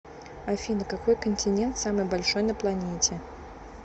афина какой континент самый большой на планете